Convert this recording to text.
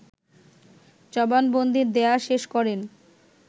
জবানবন্দি দেয়া শেষ করেন